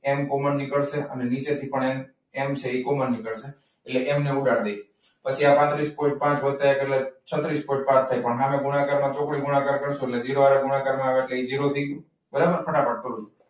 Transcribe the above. એમ common નીકળશે અને નીચેથી પણ એમ કોમન નીકળશે. એટલે એમને ઉડાડી દઈએ. પાત્રીસ પોઇન્ટ પાંચ વત્તા એક એટ્લે છત્રીસ પોઇન્ટ પાંચ થાય. પરંતુ ગુણાકારમાં સામે ચોકડી ગુણાકાર આવે એટલે ઝીરો થઈ જાય. બરાબર ફટાફટ કરું છું.